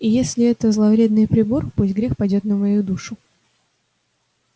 и если это зловредный прибор пусть грех падёт на мою душу